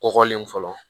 Kɔkɔlen fɔlɔ